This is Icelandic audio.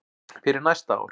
fyrir næsta ár.